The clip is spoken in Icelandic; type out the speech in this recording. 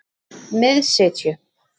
Miðsitju